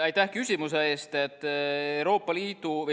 Aitäh küsimuse eest!